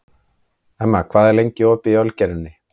Emma, hvað er lengi opið í Ölgerðinni?